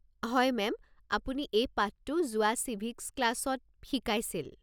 হয়, মেম। আপুনি এই পাঠটো যোৱা চিভিক্ছ ক্লাছত শিকাইছিল।